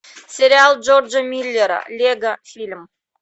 сериал джорджа миллера лего фильм